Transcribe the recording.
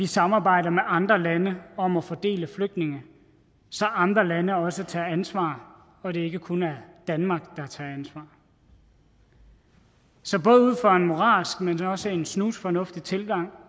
samarbejde med andre lande om at fordele flygtninge så andre lande også tager ansvar og det ikke kun er danmark der tager ansvar så både ud fra en moralsk men også en snusfornuftig tilgang